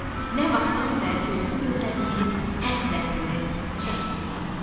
Nə vaxtdan bəri yolunu gözlədiyi, həsrətini çəkdiyi atası.